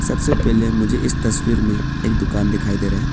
सबसे पहले मुझे इस तस्वीर में एक दुकान दिखाई दे रहा है।